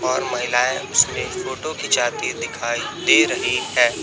और महिलाएं उसमें फोटो खींचती दिखाई दे रही है।